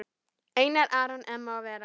Einar Aron, Emma og Vera.